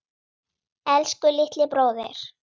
Elsku litli bróðir.